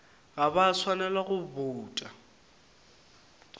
ga ba swanela go bouta